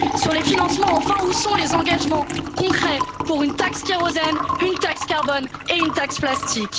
Sur les financements, enfin, où sont les engagements concrets pour une taxe kérosène, une taxe carbone et une taxe plastique?